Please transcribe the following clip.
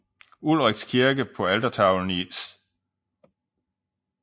Ulrichs kirke på altertavlen i S